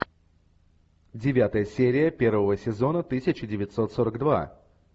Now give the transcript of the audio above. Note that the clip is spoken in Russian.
девятая серия первого сезона тысяча девятьсот сорок два